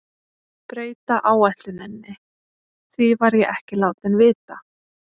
Breyta áætluninni, því var ég ekki látinn vita.